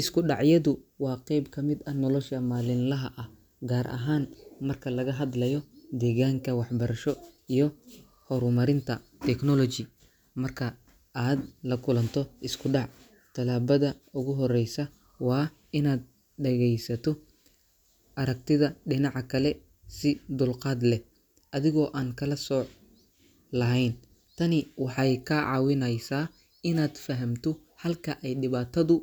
Isku dhacyadu waa qayb ka mid ah nolosha maalinlaha ah, gaar ahaan marka laga hadlayo deegaanka waxbarasho iyo horumarinta technology. Marka aad la kulanto isku dhac, talaabada ugu horeysa waa inaad dhegaysato aragtida dhinaca kale si dulqaad leh, adigoo aan kala sooc lahayn. Tani waxay kaa caawinaysaa inaad fahamto halka ay dhibaatadu